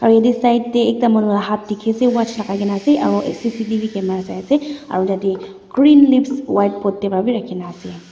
aro etu side de ekta manu hath dikhi ase watch lagai kina ase aro c c t v camera sai ase aro yete green leaves white pot de b rakhina ase.